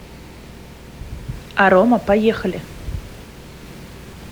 арома поехали